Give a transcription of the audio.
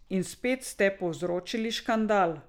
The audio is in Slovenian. In spet ste povzročili škandal.